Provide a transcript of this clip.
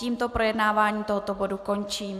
Tímto projednávání tohoto bodu končím.